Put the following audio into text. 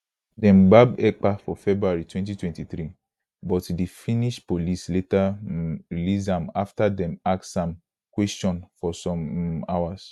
dem gbab ekpa for february 2023 but di finnish police later um release am afta dem ask am kwesion for some um hours